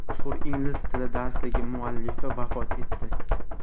Mashhur ingliz tili darsligi muallifi vafot etdi.